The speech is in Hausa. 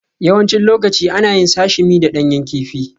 Yawancin lokaci ana yin Sashimi da ɗanyen kifi